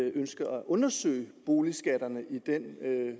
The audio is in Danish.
man ønsker at undersøge boligskatterne i den